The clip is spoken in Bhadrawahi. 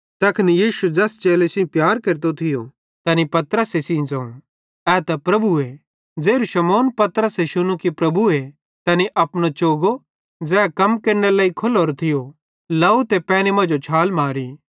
तैखन यीशु ज़ैस चेले सेइं प्यार केरतो थियो तैनी पतरस सेइं ज़ोवं ए त प्रभुए ज़ेरू शमौन पतरसे शुन्नू कि प्रभुए तैनी अपनो चोगो ज़ै कम केरनेरे लेइ खोल्लोरो थियो लाव ते पैनी मांजो छाल मारी